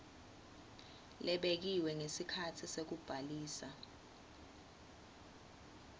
lebekiwe ngesikhatsi sekubhalisa